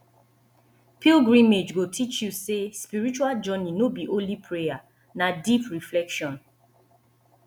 pilgrimage go teach you say spiritual journey no be only prayer na deep reflection